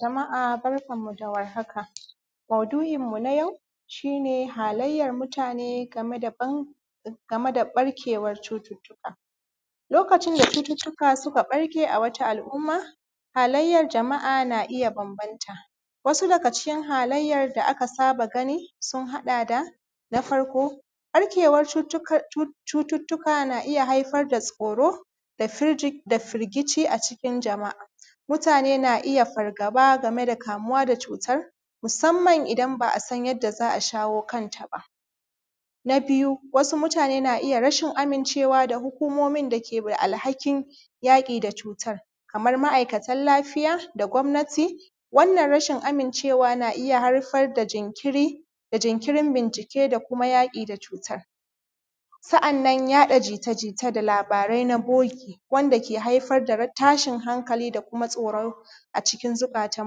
Jama’a barkanmu da warhaka, maudu’inmu na yau shi ne halayyan mutane game da ɓarkewan cututtuka, lokacin da cututtuka suka ɓarke a wata al’umma halayyan jama’a na iya bambanta wasu daga cikin halayyana da aka saba gani sun haɗa da na farko ɓarkewan cututtuka na iya haifar da tsoro da firgici a cikin jama’a mutane na iya fargaba game da kamuwa da cutar musamman idan ba a san yadda za a shawo kanta ba. Na biyu wasu mutane na iya rashin amincewa da hukumomin dake da alhakin yaƙi da cutar kamar ma’aikatan lafiya da gwamnati, wannan rashin amincewa na iya haifar da jinkiri da jinkirin bincike da kuma yaƙi da cutar, sa’annan yaɗa jita-jita da labarai na bogi wanda ke haifar da tashin hankali da kuma tsoron a cikin zukatan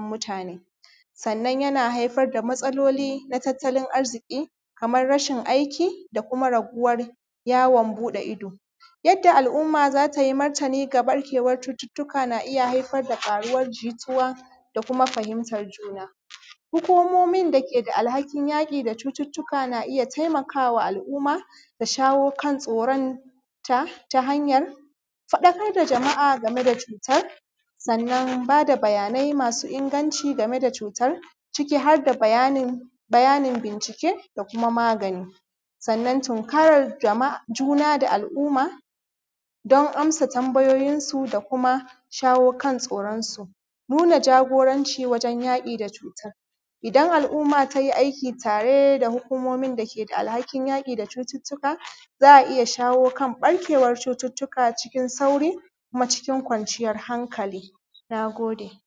mutane. Sannan yana haifar da matsaloli na tattalin arziki kamar rashin aiki da kuma raguwar yawon buɗe ido. Yadda al’umma za ta yi martani ga ɓarkewan cututtuka, na iya haifar da faruwar jituwa da kuma fahimtan juna, hukumomin da ke da alhakin yaƙi da cututtuka na iya taimakawa al’umma da shawo kan tsoronta ta hanyan faɗakar da jama’a game da cutar, sannan ba da bayanai masu inganci game da cutar ciki har da bayanin bincike da kuma magani, sannan tunkarar jajuna da al’umma don amsa tambayoyin su da kuma shawo kan tsoronsu, nuna jagoranci wajen yaƙi da cutan idan al’umma ta yi aiki tare da hukumomin dake alhakin yaƙi da cututtuka, za a iya shawo kan ɓarkewan cututtuka cikin sauri kuma cikin kwanciyar hankali. Na gode.